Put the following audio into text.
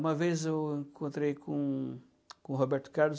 Uma vez eu encontrei com com o Roberto Carlos.